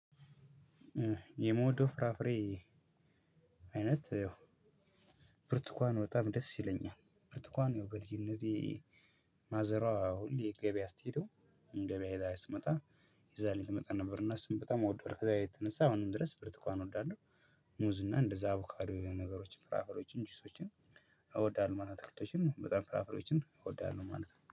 የምወደው ፍራፍሬ አይነት ያው ብርቱካን በጣም ደስ ይለኛል ብርቱካን ያው በልጅነቴ ማዘሯ ሁሌ ገበያ ስትሄደው ገበያ ሄዳ ስትመጣ ይዛልኝ ትመጣ ነበር እና እሱን በጣም እወደዋለው ከዛ የተነሳ አሁንም ድረስ ብርቱካን እወዳለሁ። ሙዝ እና እንደዛ አቦካዶ የሆኑ ነገሮችን ፍራፍሬዎችን ጁሶችን እወዳለሁ ማለት ነው። በጣም ፍራፍሮችን እወዳለሁ ማለት ነው